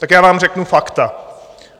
Tak já vám řeknu fakta.